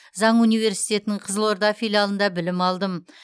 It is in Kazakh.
заң университетінің қызылорда филиалында білім алдым